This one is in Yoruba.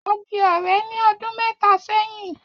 A di ọ̀rẹ́ ní ọdún mẹ́ta sẹ́yìn